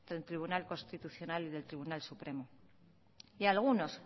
del tribunal constitucional y del tribunal supremo y a algunos